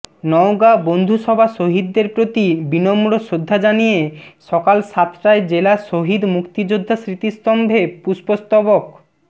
নওগাঁ বন্ধুসভা শহীদদের প্রতি বিনম্র শ্রদ্ধা জানিয়ে সকাল সাতটায় জেলা শহীদ মুক্তিযোদ্ধা স্মৃতিস্তম্ভে পুষ্পস্তবক